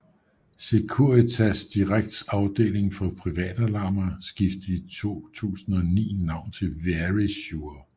Securitas Directs afdeling for privatalarmer skiftede i 2009 navn til Verisure